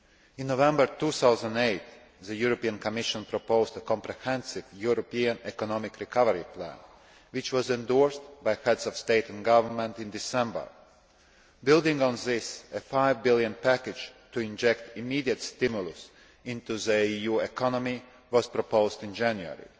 In November 2008 the European Commission proposed a comprehensive European Economic Recovery Plan, which was endorsed by Heads of State and Government in December. Building on this, a five billion package' to inject immediate stimulus into the EU economy was proposed in January.